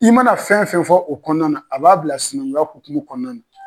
I mana fɛn fɛn fɔ o kɔɔna na a b'a bila sinankuya hokumu kɔɔna na.